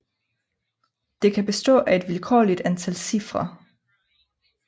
Det kan bestå af et vilkårligt antal cifre